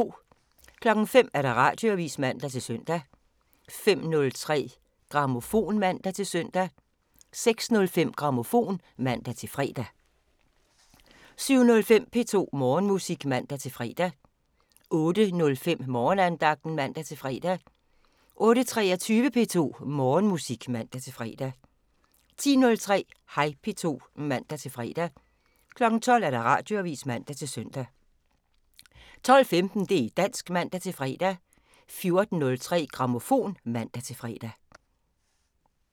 05:00: Radioavisen (man-søn) 05:03: Grammofon (man-søn) 06:05: Grammofon (man-fre) 07:05: P2 Morgenmusik (man-fre) 08:05: Morgenandagten (man-fre) 08:23: P2 Morgenmusik (man-fre) 10:03: Hej P2 (man-fre) 12:00: Radioavisen (man-søn) 12:15: Det' dansk (man-fre) 14:03: Grammofon (man-fre)